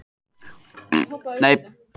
Ísak, áttu tyggjó?